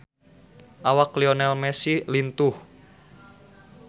Awak Lionel Messi lintuh